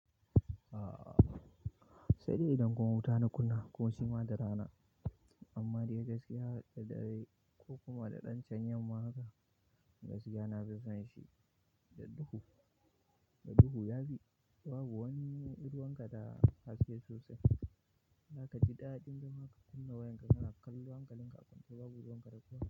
Aaa sai dai idan kun wuta na kunna ko kuma da rana, amma dai gaskiya da dare ko kuma da ɗan can yamma haka gaskiya na fi son shi. Da duhu, da duhu yafi babu wani ruwan ka da a haske sosai. Zaka ji daɗin zama ka ka kunna wayar ka kana kallo hankalin ka a kwance.